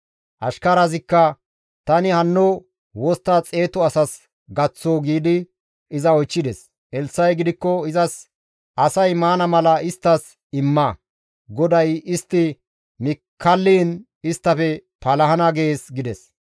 Ashkarazikka, «Tani hanno wostta xeetu asas gaththoo?» giidi iza oychchides. Elssa7i gidikko izas, «Asay maana mala isttas imma; GODAY, ‹Istti mi kalliin isttafe palahana› gees» gides.